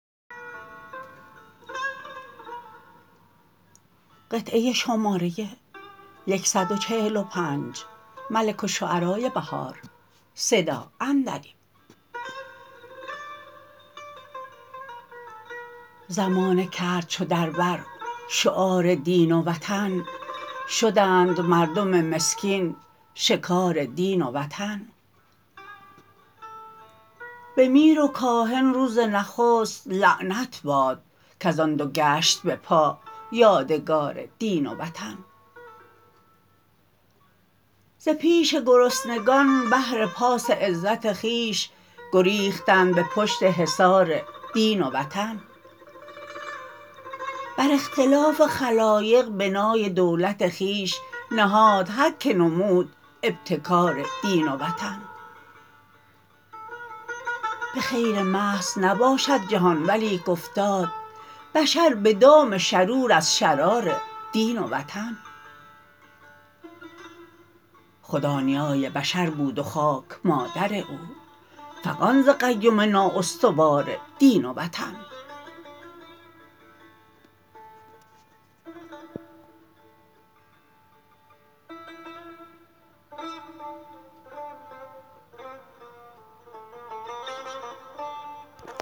زمانه کرد چو در بر شعار دین و وطن شدند مردم مسکین شکار دین و وطن به میر و کاهن روز نخست لعنت باد کز آن دوگشت بپا یادگار دین و وطن ز پیش گرسنگان بهر پاس عزت خویش گریختند به پشت حصار دین و وطن بر اختلاف خلایق بنای دولت خویش نهاد هرکه نمود ابتکار دین و وطن به خیر محض نباشد جهان ولیک افتاد بشر به دام شرور از شرار دین و وطن خدا نیای بشر بود و خاک مادر او فغان ز قیم نااستوار دین و وطن